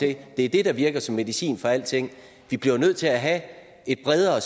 det er det der virker som medicin for alting vi bliver jo nødt til at have et bredere